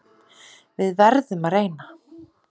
Við verðum að reyna